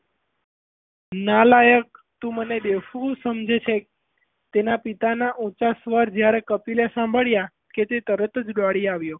નાલાયક તું મને બેવકૂફ સમજે છે તેનાં પિતાનાં ઊંચા સ્વર જ્યારે કપિલએ સાંભળીયા કે તે તરત જ દોડી આવ્યો.